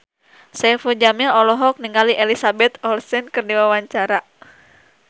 Saipul Jamil olohok ningali Elizabeth Olsen keur diwawancara